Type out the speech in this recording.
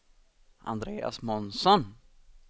Andreas Månsson